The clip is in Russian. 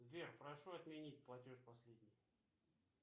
сбер прошу отменить платеж последний